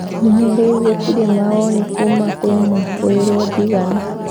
Nginya rĩu gutire mawoni kuma kwa mwikoweruo Ndigana